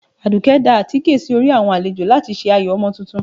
Adùké da àtíké sí orí awọn alèjọ latí se ayó Omo túntún